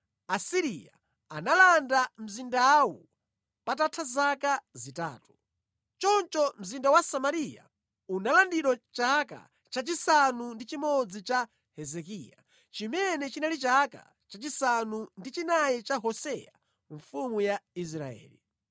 Asiriya analanda mzindawu patatha zaka zitatu. Choncho mzinda wa Samariya unalandidwa chaka chachisanu ndi chimodzi cha Hezekiya, chimene chinali chaka chachisanu ndi chinayi cha Hoseya mfumu ya Israeli.